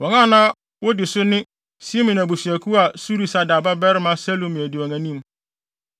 Wɔn a na wodi so ne Simeon abusuakuw a Surisadai babarima Selumiel di wɔn anim;